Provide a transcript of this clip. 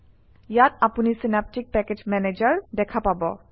ইয়াত আপুনি Synaptic package manager দেখা পাব